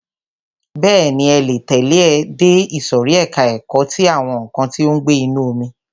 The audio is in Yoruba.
Bẹ́ẹ̀ni, ẹ le tẹ̀lẹ́ ẹ dé ìsòrí ẹka ẹ̀kọ́ ti àwọn nǹkan tí ó ń gbé inú omi.